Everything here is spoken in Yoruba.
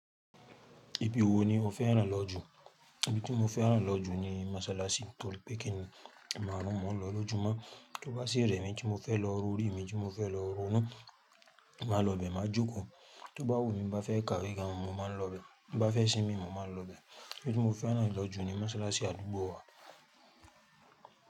Ibi wo ni o fẹ́ ràn lọ jù? Ibi tí mo fẹ́ ràn lọ jù ni masalasi torí pé kíni ẹ̀maárún ni mò ń lọ lọ́jùmọ́. Tó bá sí ìrẹ̀mí tí mo fẹ́ lọ, ro orí mi tí mo fẹ́ lọ, ronú màálọ bẹ máa jókòó. Tó bá wù mí bá fẹ́ kàwegàn mọ̀ọ́ máa lọ bẹ, bá fẹ́ ṣími mọ̀ọ́ máa lọ bẹ. Ibi tí mo fẹ́ ràn lọ jù ni masalasi àdúgbò wa.